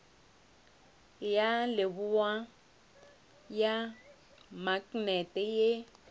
ya leboa ya maknete ye